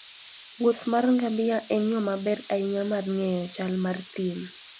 wuoth mar ngamia en yo maber ahinya mar ng'eyo chal mar thim.